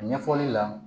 Ɲɛfɔli la